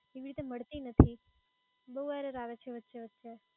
એવી રીતે મળતી નથી બહુ error આવે છે વચ્ચે વચ્ચે